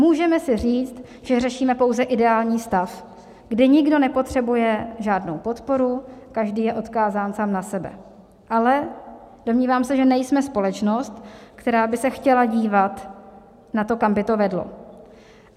Můžeme si říct, že řešíme pouze ideální stav, kde nikdo nepotřebuje žádnou podporu, každý je odkázán sám na sebe, ale domnívám se, že nejsme společnost, která by se chtěla dívat na to, kam by to vedlo.